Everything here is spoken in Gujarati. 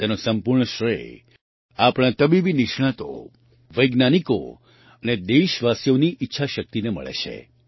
તેનો સંપૂર્ણ શ્રેય આપણા તબીબી નિષ્ણાતો વૈજ્ઞાનિકો અને દેશવાસીઓની ઈચ્છાશક્તિને મળે છે